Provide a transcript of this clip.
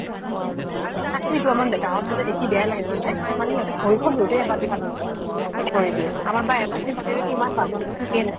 তাকে তো আমাত গাঁৱত গলে দেখি বেয়াই লাগে জানানে। মানে সিহঁতে ভৰিখন ধুওতে এবাল্টি পানী শেষ কৰি দিয়ে। আমাৰ প্ৰায় এবাল্টি পানীৰে কিমান বাচন ধু ঠিকে নাই।